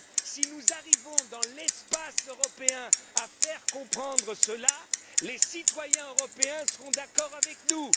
Si nous arrivons donc, dans l'espace européen, à faire comprendre cela, les citoyens européens seront d'accord avec nous.